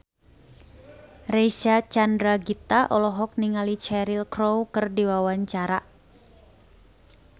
Reysa Chandragitta olohok ningali Cheryl Crow keur diwawancara